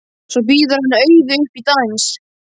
Svo býður hann Auði upp í dans.